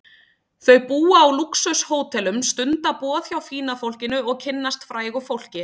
Þau búa á lúxus-hótelum, stunda boð hjá fína fólkinu og kynnast frægu fólki.